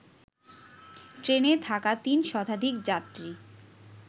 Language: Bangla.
ট্রেনে থাকা ৩ শতাধিক যাত্রী